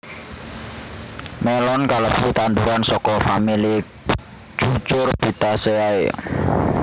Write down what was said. Mélon kalebu tanduran saka famili Cucurbitaceae